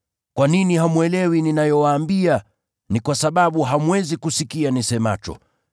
Kwa nini hamwelewi ninayowaambia? Ni kwa sababu hamwezi kusikia nisemacho.